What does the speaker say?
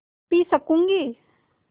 P सकँूगी